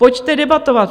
Pojďte debatovat!